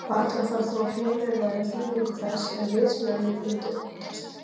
Varla þarf þó að fjölyrða um þýðingu þess ef vitsmunalíf myndi uppgötvast.